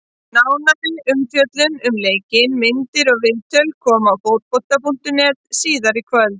Nánari umfjöllun um leikinn, myndir og viðtöl koma á Fótbolta.net síðar í kvöld.